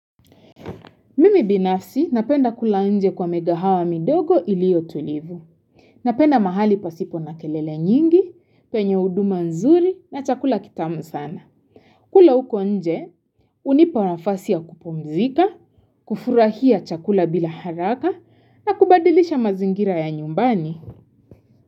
Mimi binafsi napenda kula nje kwa mikahawa midogo iliotulivu. Napenda mahali pasipo na kelele nyingi, penye huduma nzuri na chakula kitamu sana. Kula uko nje, hunipa nafasi ya kupumzika, kufurahia chakula bila haraka na kubadilisha mazingira ya nyumbani.